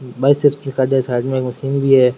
Side मे एक machine भी है।